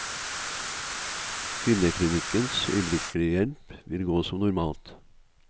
Kvinneklinikkens øyeblikkelig hjelp vil gå som normalt.